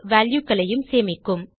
values ஐயும் சேமிக்கும்